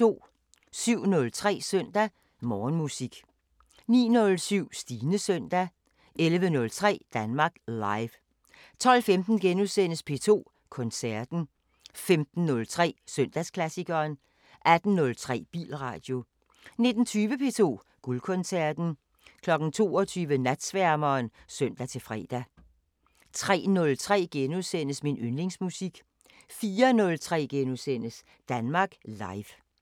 07:03: Søndag Morgenmusik 09:07: Stines søndag 11:03: Danmark Live 12:15: P2 Koncerten * 15:03: Søndagsklassikeren 18:03: Bilradio 19:20: P2 Guldkoncerten 22:00: Natsværmeren (søn-fre) 03:03: Min yndlingsmusik * 04:03: Danmark Live *